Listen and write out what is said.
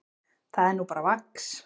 Það er nú bara vax.